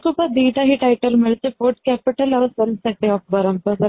ଦି ଟା ହି title ମିଳିଛି food capital ଆଉ of ବ୍ରହ୍ମପୁର